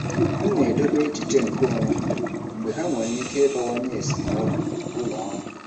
M na-edobe echiche nkeonwe mgbe ha nwere ike ịbawanye esemokwu ụlọ ọrụ.